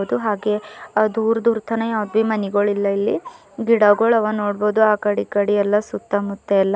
ಮತ್ತು ಹಾಗೆ ದೂರ್ದಾಗೆ ದೂರ್ ದೂರ್ತನ ಹಾವ್ಬಿ ಮನೆಗುಳಿಲ್ಲ ಇಲ್ಲಿ ಗಿಡಗುಳವ ನೋಡ್ಬಹುದು ಆಕಡೆ ಈಕಡೆ ಎಲ್ಲಾ ಸುತ್ತಮುತ್ತ ಎಲ್ಲಾ.